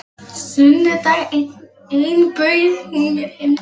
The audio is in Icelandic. Sunnudag einn bauð hún mér heim til sín.